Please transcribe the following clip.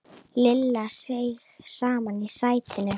Lilla seig saman í sætinu.